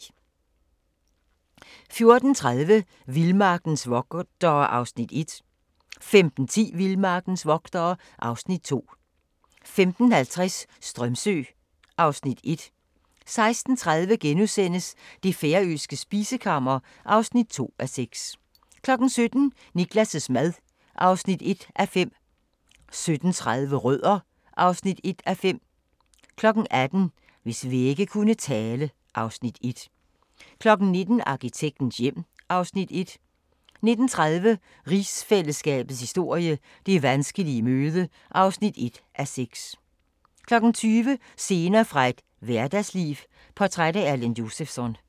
14:30: Vildmarkens vogtere (Afs. 1) 15:10: Vildmarkens vogtere (Afs. 2) 15:50: Strömsö (Afs. 1) 16:30: Det færøske spisekammer (2:6)* 17:00: Niklas' mad (1:5) 17:30: Rødder (1:5) 18:00: Hvis vægge kunne tale (Afs. 1) 19:00: Arkitektens hjem (Afs. 1) 19:30: Rigsfællesskabets historie: Det vanskelige møde (1:6) 20:00: Scener fra et hverdagsliv – portræt af Erland Josephson